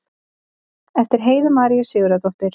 eftir heiðu maríu sigurðardóttur